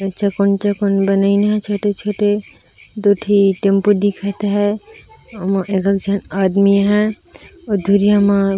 ईचे कोंचे कोन बनिया छोटे-छोटे दू ठी टैम्पू दिखत है ओमॉ एक झन आदमी है और धुरिया मा--